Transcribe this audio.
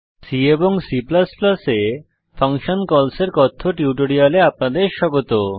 C এবং C এ function calls এর কথ্য টিউটোরিয়ালে আপনাদের স্বাগত